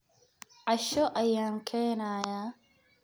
casho ayaan keenayaa